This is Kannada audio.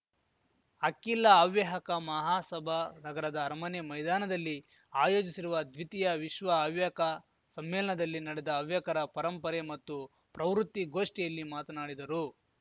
ಅಖಿಲ ಹವ್ಯಕ ಮಹಾಸಭಾ ನಗರದ ಅರಮನೆ ಮೈದಾನದಲ್ಲಿ ಆಯೋಜಿಸಿರುವ ದ್ವಿತೀಯ ವಿಶ್ವ ಹವ್ಯಕ ಸಮ್ಮೇಲನದಲ್ಲಿ ನಡೆದ ಹವ್ಯಕರ ಪರಂಪರೆ ಮತ್ತು ಪ್ರವೃತ್ತಿ ಗೋಷ್ಠಿಯಲ್ಲಿ ಮಾತನಾಡಿದರು